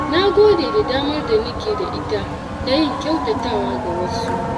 Na gode da damar da nake da ita na yin kyautatawa ga wasu.